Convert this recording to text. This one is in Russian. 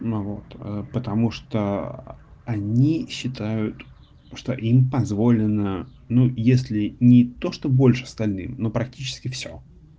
ну вот потому что они считают что им позволено ну если ни то что больше остальным но практически всё